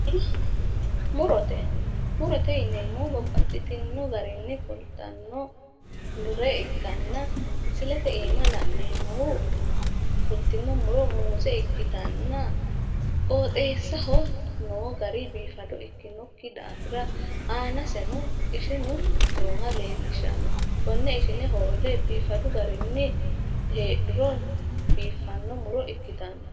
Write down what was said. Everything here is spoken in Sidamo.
Tini murote murote yineemmohu babbaxxitino garinni fultannore ikkanna misilete iima la'neemmohu fultino muro muuze ikkitanna qooxeessaho noo gari biifado ikkinokki daafira aanaseno ishinu nooha leellishanno konne ishine hoolle biifadu garinni heedhuro biiffanno muro ikkitanno